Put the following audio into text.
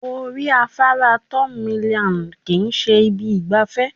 Orí afárá third mainland kì í ṣe ibi ìgbafẹ́